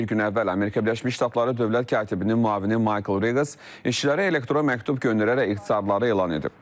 Bir gün əvvəl Amerika Birləşmiş Ştatları dövlət katibinin müavini Michael Riggs işçilərə elektron məktub göndərərək ixtisarları elan edib.